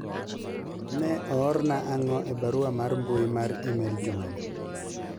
ne oorna ang'o e barua mar mbui mar email juma ni